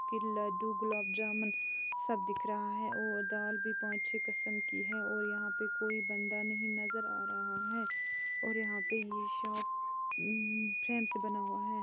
लड्डू गुलाब जामुन सब दिख रहा है और दाल भी पाँच छे किस्म कि है और यहाँ पे कोई बंदा नहीं नजर आ रहा है और यहाँ पे ये शॉप फ्रेम से बना हुआ है